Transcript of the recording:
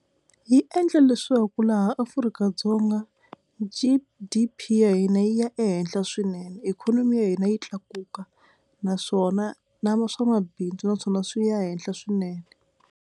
Yi endla leswaku laha Afrika-Dzonga G_D_P ya hina yi ya ehenhla swinene ikhonomi ya hina yi tlakuka naswona na swamabindzu naswona swi ya henhla swinene.